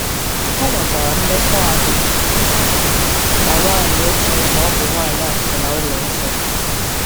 O nwekwara mmekọahụ na nwanyị o chere na ọ bụ nwanyị akwụna ụlọ nsọ.